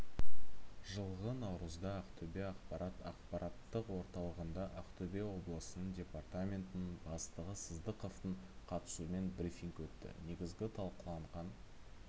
жылғы наурызда ақтөбе ақпарат ақпараттық орталығында ақтөбе облысының департаментінің бастығы сыздықовтың қатысуымен брифинг өтті негізгі талқыланған